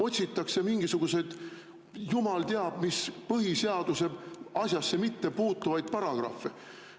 Otsitakse mingisuguseid jumal teab mis asjasse mittepuutuvaid põhiseaduse paragrahve.